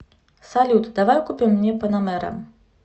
салют давай купим мне панамера